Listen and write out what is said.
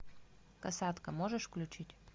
касатка можешь включить